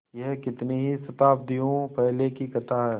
यह कितनी ही शताब्दियों पहले की कथा है